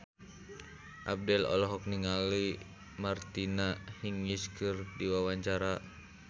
Abdel olohok ningali Martina Hingis keur diwawancara